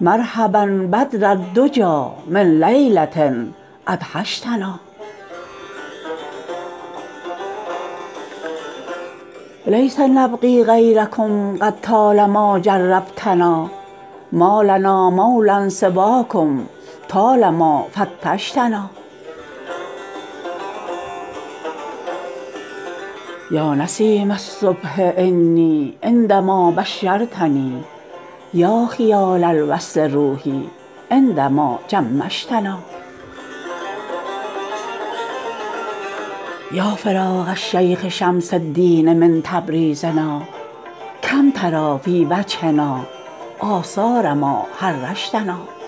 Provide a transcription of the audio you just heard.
مرحبا بدر الدجی من لیله ادهشتنا لیس نبغی غیرکم قد طال ما جربتنا ما لنا مولا سواکم طال ما فتشتنا یا نسیم الصبح انی عند ما بشرتنی یا خیال الوصل روحی عند ما جمشتنا یا فراق الشیخ شمس الدین من تبریزنا کم تری فی وجهنا آثار ما حرشتنا